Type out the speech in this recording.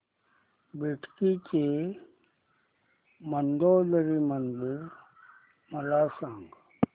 बेटकी चे मंदोदरी मंदिर मला सांग